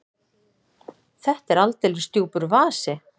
Þetta er aldeilis djúpur vasi!